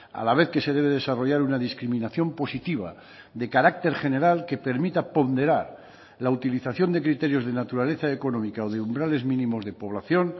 a la vez que se debe desarrollar una discriminación positiva de carácter general que permita ponderar la utilización de criterios de naturaleza económica o de umbrales mínimos de población